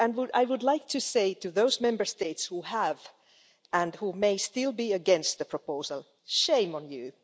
I would like to say to those Member States who have been and who may still be against the proposal shame on you!